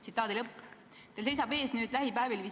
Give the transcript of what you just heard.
Teil seisab nüüd lähipäevil ees visiit Iisraeli.